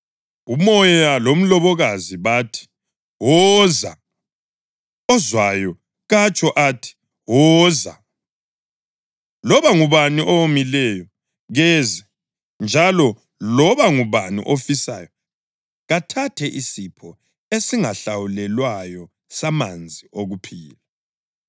UMoya lomlobokazi bathi, “Woza!” Ozwayo katsho athi, “Woza!” Loba ngubani owomileyo, keze; njalo loba ngubani ofisayo, kathathe isipho esingahlawulelwayo samanzi okuphila.